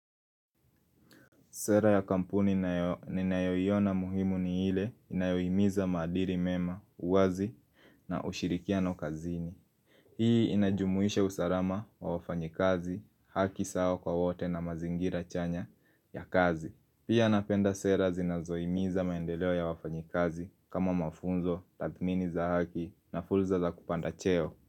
Sera ya kampuni ninayoiona muhimu ni ile inayohimiza maadili mema, uwazi na ushirikiano ukazini. Hii inajumuisha usalama wa wafanyikazi, haki sawa kwa wote na mazingira chanya ya kazi. Pia napenda sera zinazohimiza maendeleo ya wafanyikazi kama mafunzo, tathmini za haki na fursa za kupanda cheo.